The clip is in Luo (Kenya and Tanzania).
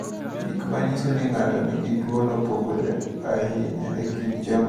Gik ma nyiso ni ng’ato nigi tuwono opogore ahinya e kind joma oyudo tuwono.